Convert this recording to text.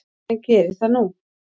En geri það nú.